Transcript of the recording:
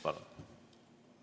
Palun!